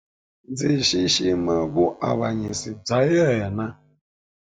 Ndzi xixima vuavanyisi bya yena.